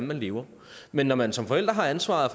vil leve men når man som forælder har ansvaret